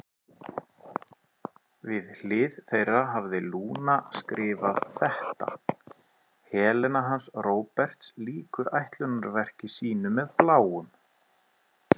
Við hlið þeirra hafði Lúna skrifað þetta: Helena hans Róberts lýkur ætlunarverki sínu með Bláum.